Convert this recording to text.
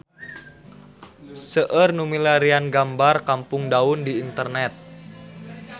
Seueur nu milarian gambar Kampung Daun di internet